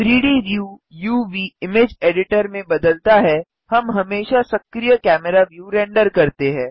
3डी व्यू uvइमेज एडिटर में बदलता है हम हमेशा सक्रिय कैमरा व्यू रेंडर करते हैं